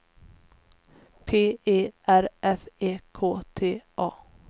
P E R F E K T A